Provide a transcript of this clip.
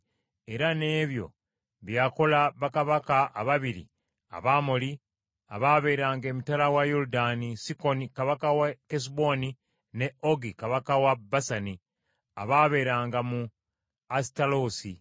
era n’ebyo bye yakola bakabaka ababiri Abamoli abaabeeranga emitala wa Yoludaani, Sikoni kabaka w’e Kesuboni ne Ogi kabaka we Basani abaabeeranga mu Asitaloosi.